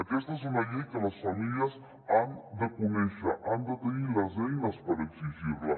aquesta és una llei que les famílies han de conèixer han de tenir les eines per exigir·la